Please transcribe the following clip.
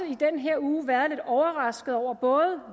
i den her uge været lidt overrasket over både